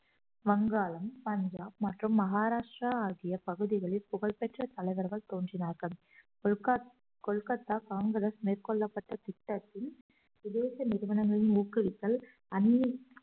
வங்காளம் பஞ்சாப் மற்றும் மகாராஷ்டிரா ஆகிய பகுதிகளில் புகழ் பெற்ற தலைவர்கள் தோன்றினார்கள் கொல்கத்~ கொல்கத்தா காங்கிரஸ் மேற்கொள்ளப்பட்ட திட்டத்தின் சுதேச நிறுவனங்களில் ஊக்குவித்தல்